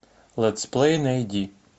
летсплей найди